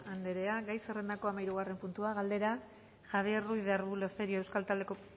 anderea gai zerrendako hamahirugarren puntua galdera javier ruiz de arbulo cerio euskal